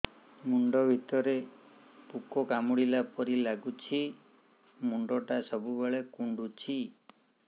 ମୁଣ୍ଡ ଭିତରେ ପୁକ କାମୁଡ଼ିଲା ପରି ଲାଗୁଛି ମୁଣ୍ଡ ଟା ସବୁବେଳେ କୁଣ୍ଡୁଚି